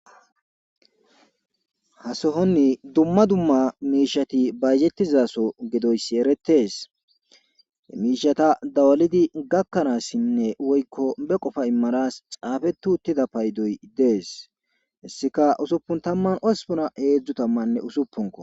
Hasohonni dumma dumma miishati baygettizaso gedoyssi eretees emiishata dawalidi gakkanaassinne woykko be qofa immaras xaafetu uttida paydoy dees hissika usuppun tamman ospuna heedzdzu tammanne usuppunko.